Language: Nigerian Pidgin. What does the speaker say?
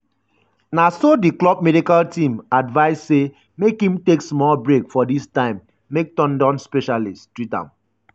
na so di club medical team advice say make im take small break for dis time make ten don specialist treat am.